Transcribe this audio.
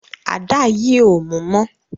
Àdá yí o mú mọ